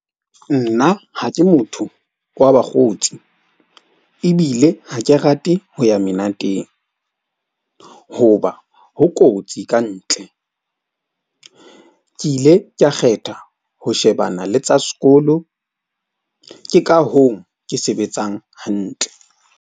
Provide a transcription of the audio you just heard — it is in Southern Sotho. Nna ha ke motho wa bakgotsi ebile ha ke rate ho ya menateng. Hoba ho kotsi kantle. Ke ile ka kgetha ho shebana le tsa sekolo. Ke ka hoo ke sebetsang hantle.